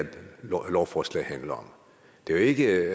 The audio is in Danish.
lovforslag handler om det er jo ikke